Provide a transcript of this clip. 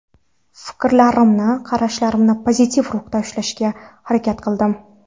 Fikrlarimni, qarashlarimni pozitiv ruhda ushlashga harakat qildim.